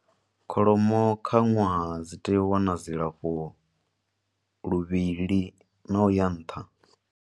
Kholomo kha ṅwaha dzi tea u wana dzilafho luvhili na u ya nṱha.